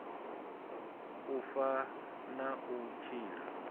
u fa na u tshila